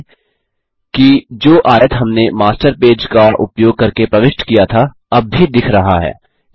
ध्यान दें कि जो आयत हमने मास्टर पेज का उपयोग करके प्रविष्ट किया था अब भी दिख रहा है